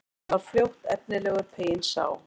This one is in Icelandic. Hann var fljótt efnilegur, peyinn sá.